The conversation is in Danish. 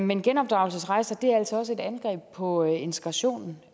men genopdragelsesrejser er også et angreb på integrationen